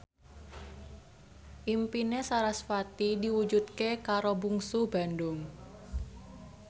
impine sarasvati diwujudke karo Bungsu Bandung